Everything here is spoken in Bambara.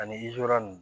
Ani zɔra ni